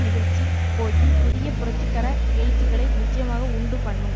நிகழ்ச்சி போக்கின் புதிய புரட்சிகரஎழுச்சிகளை நிச்சயமாக உண்டு பண்ணும்